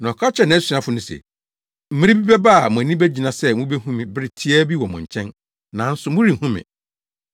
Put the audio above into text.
Na ɔka kyerɛɛ nʼasuafo no se, “Mmere bi bɛba a mo ani begyina sɛ mubehu me bere tiaa bi wɔ mo nkyɛn, nanso morenhu me.